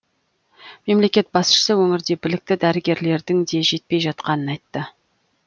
мемлекет басшысы өңірде білікті дәрігерлердің де жетпей жатқанын айтты